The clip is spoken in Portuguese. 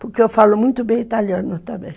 Porque eu falo muito bem italiano também.